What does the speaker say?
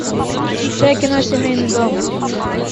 включай кино семейный дом